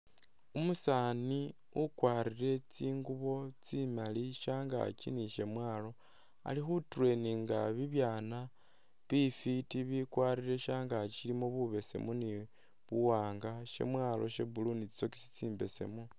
Umusaani ukwarire tsingubo tsimali shangaaki ni syamwalo ali khu traininga bibyaana bifwiti bikwarire shangaaki syilimo bubesemu ni buwaanga. Syamwaalo sha blue ni tsisokesi tsimbesemu.